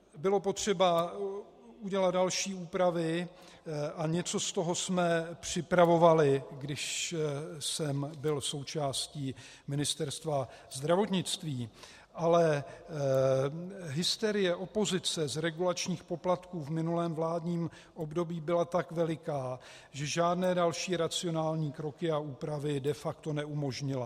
Bylo potřeba udělat další úpravy a něco z toho jsme připravovali, když jsem byl součástí Ministerstva zdravotnictví, ale hysterie opozice z regulačních poplatků v minulém vládním období byla tak veliká, že žádné další racionální kroky a úpravy de facto neumožnila.